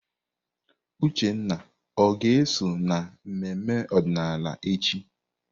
Uchenna ọ ga-eso na mmemme ọdịnala echi?